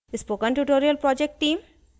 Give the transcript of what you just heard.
spoken tutorial project team: